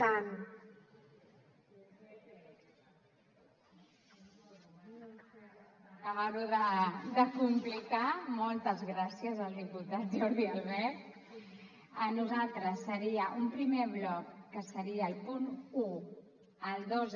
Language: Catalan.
per acabar·ho de complicar moltes gràcies al diputat jordi albert nosaltres seria un primer bloc que seria el punt un el dos